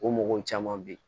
O mɔgɔw caman be yen